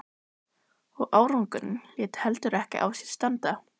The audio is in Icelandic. Og árangurinn lét heldur ekki á sér standa.